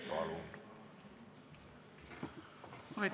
Palun!